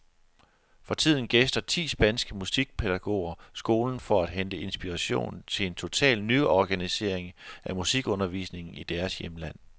For tiden gæster ti spanske musikpædagoger skolen for at hente inspiration til en total nyorganisering af musikundervisningen i deres hjemland.